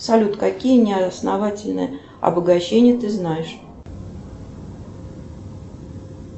салют какие неосновательные обогащения ты знаешь